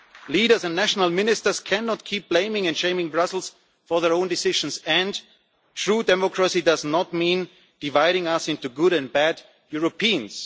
Leaders and national ministers cannot keep blaming and shaming Brussels for their own decisions, and true democracy does not mean dividing us into good and bad Europeans.